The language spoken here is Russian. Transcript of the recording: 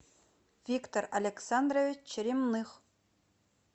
виктор александрович черемных